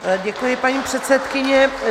Děkuji, paní předsedkyně.